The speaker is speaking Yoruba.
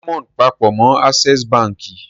Diamond papọ̀ mọ́ Access Báńkì.